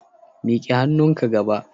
Mik'e hannunka gaba